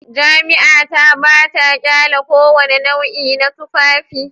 Jami'a ta ba ta ƙyale kowane nau'i na tufafi